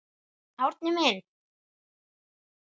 Árni minn.